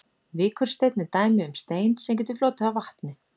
Vikursteinn er dæmi um stein sem getur flotið á vatni.